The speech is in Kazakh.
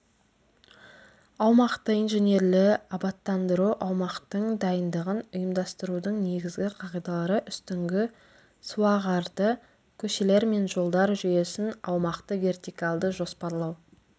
аумақты инженерлі абаттандыру аумақтың дайындығын ұйымдастырудың негізгі қағидалары үстіңгі суағарды көшелер мен жолдар жүйесін аумақты вертикалды жоспарлау